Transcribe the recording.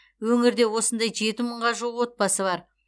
өңірде осындай жеті мыңға жуық отбасы бар